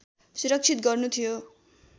सुरक्षित गर्नु थियो